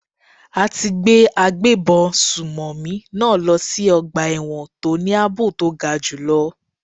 A ti gbé agbébọn sùnmọ̀mí náà lọ sí ọgbà ẹ̀wọ̀n tó ní àbò to ga jù lọ.